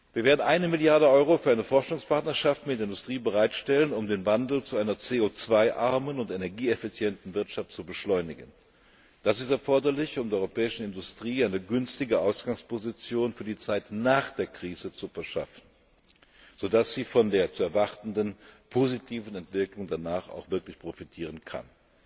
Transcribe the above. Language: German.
Wir werden eine Milliarde Euro für eine Forschungspartnerschaft mit der Industrie bereitstellen, um den Wandel zu einer CO 2 armen und energieeffizienten Wirtschaft zu beschleunigen. Das ist erforderlich, um der europäischen Industrie eine günstige Ausgangsposition für die Zeit nach der Krise zu verschaffen, so dass sie von der zu erwartenden positiven Entwicklung danach auch wirklich profitieren kann.